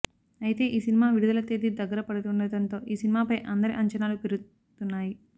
అయితే ఈ సినిమా విడుదల తేదీ దగ్గర పడుతుండటంతో ఈ సినిమాపై అందరి అంచనాలు పెరుతున్నాయి